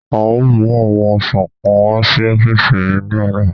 A o mu awọn ọsan kan wa si ọfiisi mi ni ọla